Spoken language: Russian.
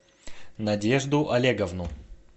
надежду олеговну